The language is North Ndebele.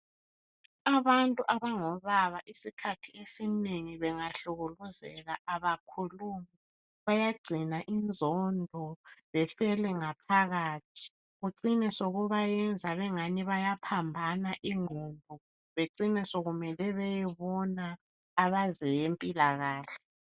Abantu abangobaba isikhathi esinengi, bangahlukuluzeka kabakhulumi. Bayagcina inzondo, befele ngaphakathi. Kucine sokubenza engani bataphambana ungqondo. Kucine sekumele beyebona abezempilakahle.